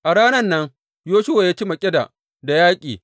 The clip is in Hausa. A ranan nan Yoshuwa ya ci Makkeda da yaƙi.